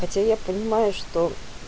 хотя я понимаю что